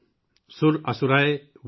वन्दित दिव्य रूपम्।